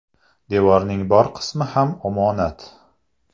Devorning bor qismi ham omonat.